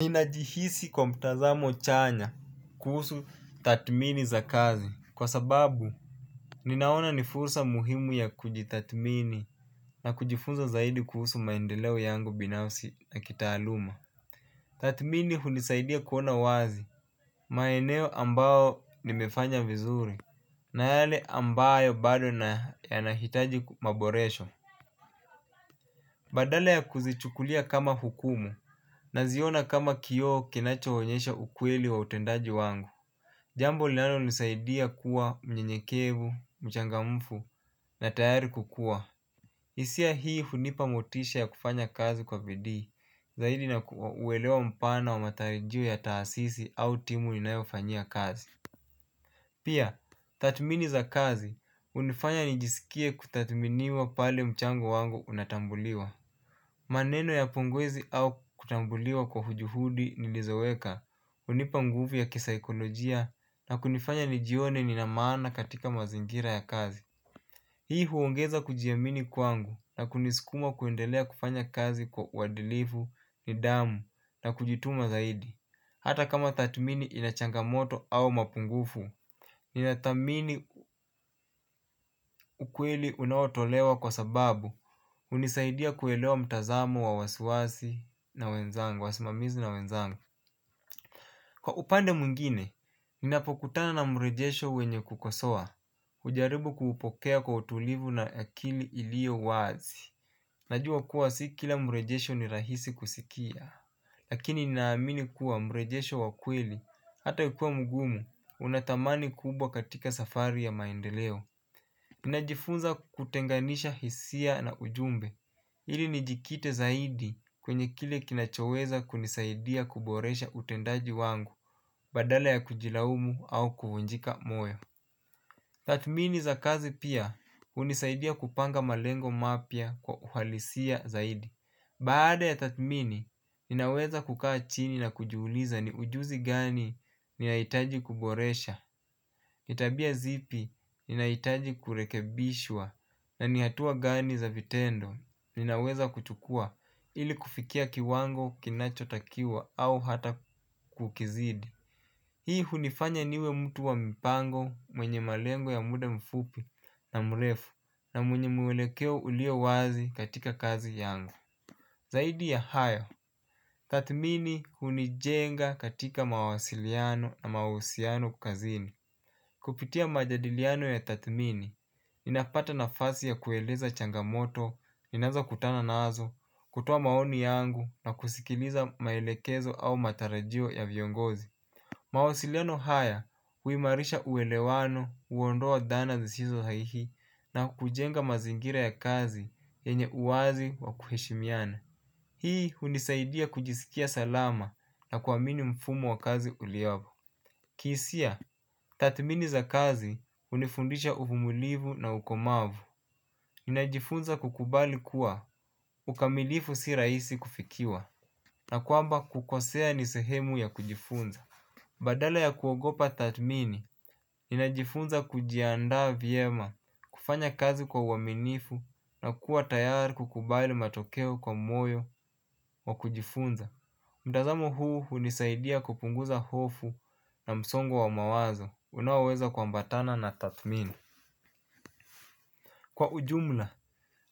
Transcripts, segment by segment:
Ninajihisi kwa mtazamo chanya kuhusu tathmini za kazi kwa sababu ninaona ni fursa muhimu ya kujitathmini na kujifunza zaidi kuhusu maendeleo yangu binafsi na kitaaluma. Tathmini hunisaidia kuona wazi maeneo ambao nimefanya vizuri na yale ambayo bado na yanahitaji maboresho. Badala ya kuzichukulia kama hukumu naziona kama kioo kinachoonyesha ukweli wa utendaji wangu. Jambo linalonisaidia kuwa mnyenyekevu, mchangamfu na tayari kukuwa hisia hii hunipa motisha ya kufanya kazi kwa bidii zaidi na uwelewa mpana wa matarajio ya taasisi au timu inayofanyia kazi. Pia, tathmini za kazi, hunifanya nijisikie kutathminiwa pale mchango wangu unatambuliwa. Maneno ya pongezi au kutambuliwa kwa juhudi nilizoweka, hunipa nguvu ya kisaikolojia na kunifanya nijione nina maana katika mazingira ya kazi. Hii huongeza kujiamini kwangu na kunisukuma kuendelea kufanya kazi kwa uwadilifu nidhamu na kujituma zaidi. Hata kama tathmini ina changamoto au mapungufu. Ninathamini ukweli unaotolewa kwa sababu hunisaidia kuelewa mtazamo wa wasiwasi na wenzangu, wasimamizi na wenzangu. Kwa upande mwingine, ninapokutana na mrejesho wenye kukosoa hujjaribu kuupokea kwa utulivu na akili iliyo wazi. Najua kuwa si kila mrejesho ni rahisi kusikia. Lakini ninaamini kuwa mrejesho wa kweli hata ukiwa mgumu unathamani kubwa katika safari ya maendeleo ninajifunza kutenganisha hisia na ujumbe, ili nijikite zaidi kwenye kile kinachoweza kunisaidia kuboresha utendaji wangu badala ya kujilaumu au kuvunjika moyo. Tathmini za kazi pia hunisaidia kupanga malengo mapya kwa uhalisia zaidi. Baada ya tathmini, ninaweza kukaa chini na kujiuliza ni ujuzi gani ninahitaji kuboresha, ni tabia zipi ninahitaji kurekebishwa, na ni hatua gani za vitendo ninaweza kuchukua ili kufikia kiwango kinachotakiwa au hata kukizidi. Hii hunifanya niwe mtu wa mipango mwenye malengo ya muda mfupi na mrefu na mwenye mwelekeo ulio wazi katika kazi yango. Zaidi ya haya, tathmini hunijenga katika mawasiliano na mahusiano kazini. Kupitia majadiliano ya tathmini, ninapata nafasi ya kueleza changamoto, ninaweza kutana nazo, kutoa maoni yangu na kusikiliza maelekezo au matarajio ya viongozi. Mawasiliano haya, huimarisha uwelewano, huondoa dhana zisizo haihi na kujenga mazingira ya kazi yenye uwazi wa kuheshimiana. Hii hunisaidia kujisikia salama na kuamini mfumo wa kazi uliopo. Kihisia, tathmini za kazi hunifundisha uvumulivu na ukomavu. Ninajifunza kukubali kuwa ukamilifu si rahisi kufikiwa na kwamba kukosea ni sehemu ya kujifunza. Badala ya kuogopa tathmini, ninajifunza kujiandaa vyema kufanya kazi kwa uaminifu na kuwa tayari kukubali matokeo kwa moyo wa kujifunza. Mtazamo huu hunisaidia kupunguza hofu na msongo wa mawazo unaoweza kuambatana na tathmini. Kwa ujumla,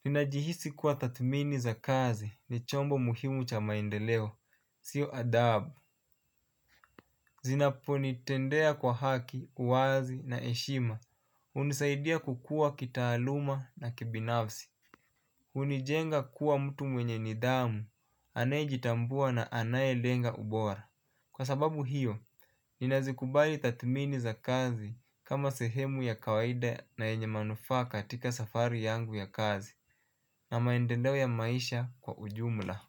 ninajihisi kuwa tathmini za kazi ni chombo muhimu cha maendeleo. Sio adabu. Zinaponitendea kwa haki, uwazi na heshima hunisaidia kukua kitaaluma na kibinafsi hunijenga kuwa mtu mwenye nidhamu anayejitambua na anayelenga ubora. Kwa sababu hiyo, nina zikubali tathmini za kazi kama sehemu ya kawaida na yenye manufaa katika safari yangu ya kazi na maendeleo ya maisha kwa ujumla.